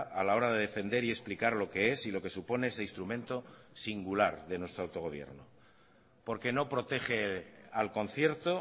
a la hora de defender y explicar lo que es y lo que supone ese instrumento singular de nuestro autogobierno porque no protege al concierto